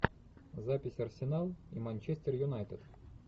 запись арсенал и манчестер юнайтед